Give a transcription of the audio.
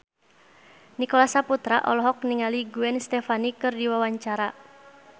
Nicholas Saputra olohok ningali Gwen Stefani keur diwawancara